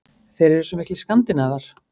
Þeir eru svo miklir Skandinavar.